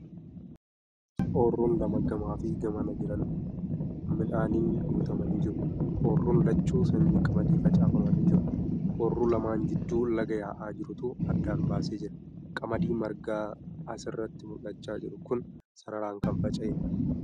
Ooyiruun lama gamaa fi gamana jiran midhaaniin guutamanii jiru. Ooyiruun lachuu sanyii qamadii facaafamanii jiru. Ooyiruu lamaan jidduu laga yaa'aa jirutu addaan baasee jira. Qamadii margaan asirratti mul'achaa jiru kun sararaan kan faca'eedha.